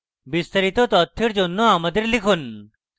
বিস্তারিত তথ্যের জন্য আমাদের লিখুন